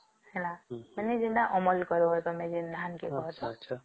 ହେଲା ମାନେ ତମର ଯେମିତି ଅମଳ କରିବ ଯେମତି ଧାନ କେ